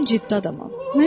Mən ciddi adamam.